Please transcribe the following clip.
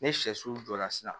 Ni sɛsu jɔra sisan